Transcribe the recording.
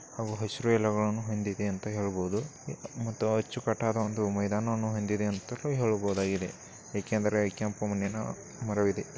ಹಾಗು ಹಸಿರೂ ಎಲೆಗಳನ್ನು ಹೊಂದಿದೆ ಅಂತ ಹೇಳಬಹುದು ಮತ್ತುಅಚ್ಚುಕಟ್ಟಾದ ಮೈದಾನ ವನ್ನು ಹೊಂದಿದೆ ಅಂತಲು ಹೇಳಬಹುದಾಗಿದೆ ಯಾಕೆಂದ್ರೆ ಕೆಂಪು ಮಣ್ಣಿನ ಮರವಿದೆ.